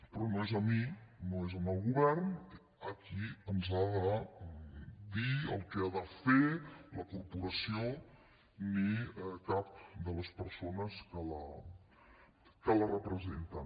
però no és a mi no és al govern a qui ens ha de dir el que ha de fer la corporació ni cap de les persones que la representen